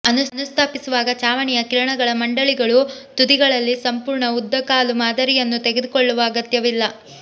ಅನುಸ್ಥಾಪಿಸುವಾಗ ಚಾವಣಿಯ ಕಿರಣಗಳ ಮಂಡಳಿಗಳು ತುದಿಗಳಲ್ಲಿ ಸಂಪೂರ್ಣ ಉದ್ದ ಕಾಲು ಮಾದರಿಯನ್ನು ತೆಗೆದುಕೊಳ್ಳುವ ಅಗತ್ಯವಿಲ್ಲ